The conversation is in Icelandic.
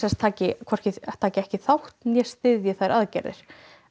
taki taki ekki þátt né styðji þær aðgerðir